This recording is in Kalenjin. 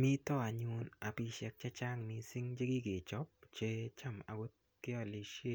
Mito anyun apishek chechang mising chekikechop che cham akot kealishe